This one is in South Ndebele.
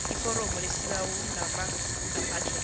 iforomo lesibawo ngamagabhadlhela